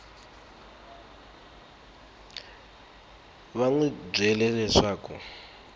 va n wi byele leswaku